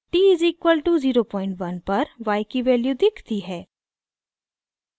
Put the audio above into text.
t = 01 पर y की value दिखती है